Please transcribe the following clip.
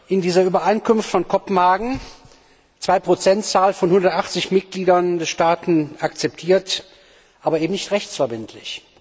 In dieser Übereinkunft von Kopenhagen, zwei Prozent, von 180 Mitgliedern der Staaten akzeptiert, aber eben nicht rechtsverbindlich.